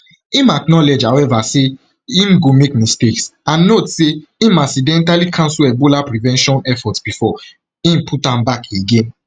im acknowledge however say im go make mistakes and note say im accidentally cancel ebola prevention efforts bifor im put am back again